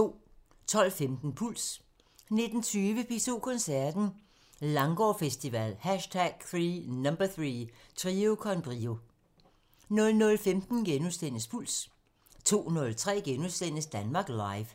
12:15: Puls 19:20: P2 Koncerten – Langgaardfestival #3 – Trio con Brio 00:15: Puls * 02:03: Danmark Live *